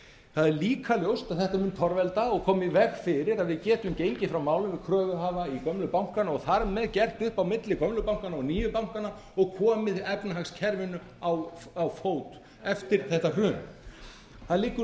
það er líka ljóst að þetta mun torvelda og koma í veg fyrir að við getum gengið frá málum við kröfuhafa í gömlu bankana og þar með gert upp á milli gömlu bankanna og nýju bankanna og komið efnahagskerfinu á fót eftir þetta hrun það liggur